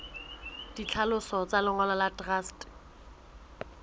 ditlhaloso tsa lengolo la truste